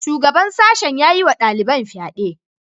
Shugaban sashen ya yi wa daliban fyade.